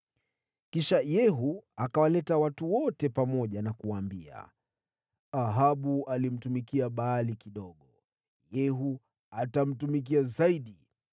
Kisha Yehu akawaleta watu wote pamoja na kuwaambia, “Ahabu alimtumikia Baali kidogo. Lakini Yehu atamtumikia zaidi.